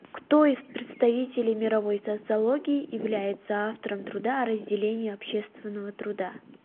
кто из представителей мировой социологии является автором труда о разделении общественного труда